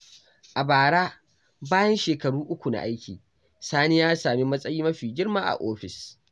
A bara, bayan shekaru uku na aiki, Sani ya sami matsayi mafi girma a ofis.